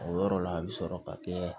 O yɔrɔ la a bɛ sɔrɔ ka kɛ